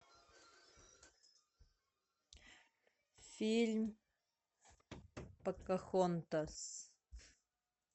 фильм покахонтас